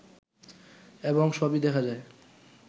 এবং সবই দেখা যায়